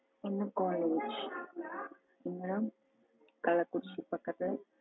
என்ன college இங்க கள்ளக்குறிச்சி பக்கத்துல